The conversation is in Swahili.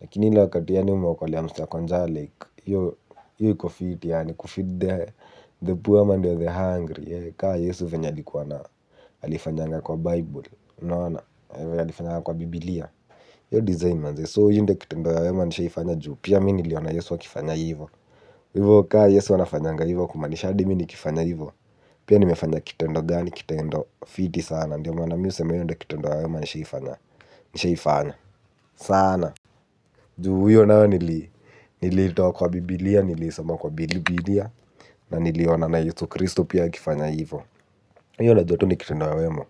Lakini ile wakati yaani umeokolea mse ako njaa like hiyo iko fiti yaani kufeed the poor man and the hungry. Kaa Yesu venye alikuwa na alifanyanga kwa Bible unaona. Alifanyanga kwa Biblia hiyo design manze So hiyo ndo kitendo ya wema nishaifanya juu pia mimi niliona Yesu akifanya hivo. Hivo kaa Yesu anafanyanga hivo kumaanisha hadi mimi nikifanya hivo. Pia nimefanya kitendo gani kitendo fiti sana ndio maana mimi husema hiyo ndio kitendo ya wema nishaifanya. Sana. Juu huyo nawe nilitoa kwa biblia, nilisoma kwa bibilia, na niliona na yesu kristo pia akifanya hivo. Hiyo najua tu ni kitendo ya wema.